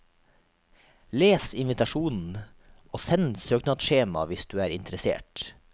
Les invitasjonen og send søknadsskjema hvis du er interessert.